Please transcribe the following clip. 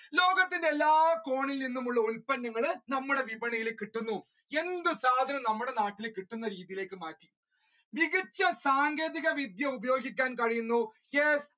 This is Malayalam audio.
ലോകത്തിന്റെ എല്ലാ കോണിൽ നിന്നുള്ള ഉൽപ്പന്നങ്ങൾ നമ്മുടെ വിപണിയിലേക്ക് എത്തുന്നു എന്ത് സാധനവും നമ്മുടെ നാട്ടിലേക്ക് എത്തുന്ന സ്ഥിതിയിലേക്ക് മാറ്റി മികച്ച സാങ്കേതിക വിദ്യ ഉപയോഗിക്കാൻ കഴിയ്യുന്നു. Yes